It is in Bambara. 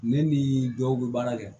Ne ni dɔw bɛ baara kɛ